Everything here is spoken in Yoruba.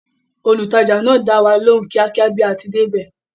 Olùtajà náà dáwa lóhùn kíákíá bí a ti débẹ̀